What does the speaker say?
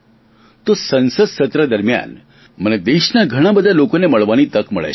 તો સંસદ સત્ર દરમિયાન મને દેશના ઘણા બધા લોકોને મળવાની તક મળે છે